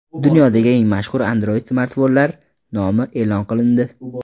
Dunyodagi eng mashhur Android-smartfonlar nomi e’lon qilindi.